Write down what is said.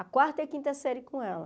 A quarta e a quinta série com ela.